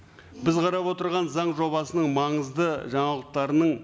біз қарап отырған заң жобасының маңызды жаңалықтарының